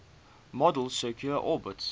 model's circular orbits